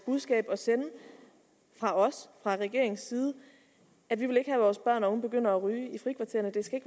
budskab at sende fra os altså regeringens side at vi ikke at vores børn og unge begynder at ryge i frikvartererne det skal